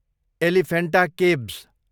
Elephanta caves